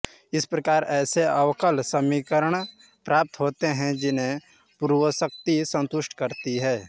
इस प्रकार ऐसे अवकल समीकरण प्राप्त होते हैं जिन्हें पूर्वोक्त राशियाँ संतुष्ट करती हैं